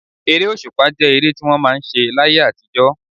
Ere òṣùpá jẹ́ ere tí wọ́n máa ń ṣe láyé àtijọ́.